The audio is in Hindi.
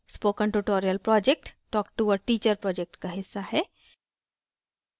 spoken tutorial project talk to a teacher project का हिस्सा है